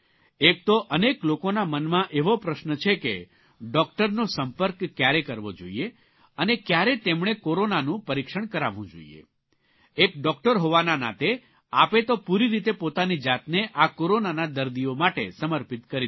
એક તો અનેક લોકોના મનમાં એવો પ્રશ્ન છે કે ડૉકટરનો સંપર્ક કયારે કરવો જોઇએ અને કયારે તેમણે કોરોનાનું પરીક્ષણ કરાવવું જોઇએ એક ડૉકટર હોવાના નાતે આપે તો પૂરી રીતે પોતાની જાતને આ કોરોનાના દર્દીઓ માટે સમર્પિત કરી દીધી છે